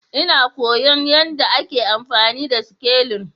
Ina koyon yadda ake amfani da sikelin